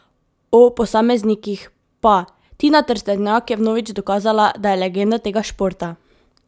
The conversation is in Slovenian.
O posameznikih pa: "Tina Trstenjak je vnovič dokazala, da je legenda tega športa.